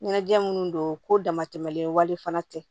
Ɲɛnajɛ minnu don ko damatɛmɛlen wale fana tɛ